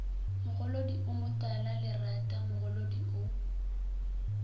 mogolodi o motalalerata mogolodi o